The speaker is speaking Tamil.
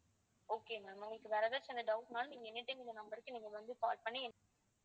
okay ma'am உங்களுக்கு வேற ஏதாச்சு doubt னாலும் நீங்க anytime இந்த number க்கு நீங்க வந்து call பண்ணி